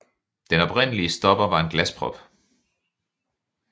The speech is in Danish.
Den oprindelige stopper var en glasprop